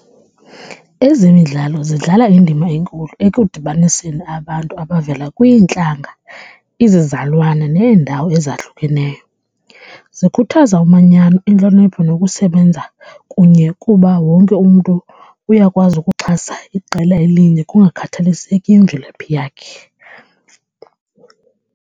Ezemidlalo zidlala indima enkulu ekudibaniseni abantu abavela kwiintlantla, izizalwane neendawo ezahlukeneyo. Zikhuthaza umanyano, intlonipho nokusebenza kunye kuba wonke umntu uyakwazi ukuxhasa iqela elinye kungakhathaliseki imvelaphi yakhe.